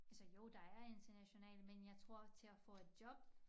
Altså jo der er internationale men jeg tror til at få et job